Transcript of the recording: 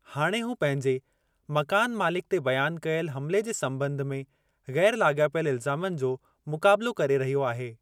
हाणे हू पंहिंजे मकानु मालिक ते बयानु कयल हमिले जे संॿंध में ग़ैरु लाॻापियल इल्ज़ामनि जो मुकाबिलो करे रहियो आहे।